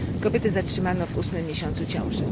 Kobietę zatrzymano w ósmym miesiącu ciąży.